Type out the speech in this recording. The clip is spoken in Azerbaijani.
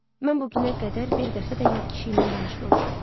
Mən bu günə qədər bir dəfə də yad kişi ilə danışmamışam.